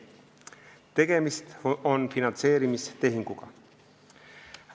Tegemist on finantseerimistehinguga.